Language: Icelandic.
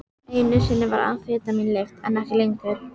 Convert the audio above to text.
Einu sinni var amfetamín leyft, en ekki lengur.